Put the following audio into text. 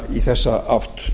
í þessa átt